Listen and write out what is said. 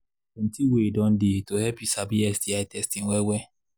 plenty way don they to help you sabi sti testing well well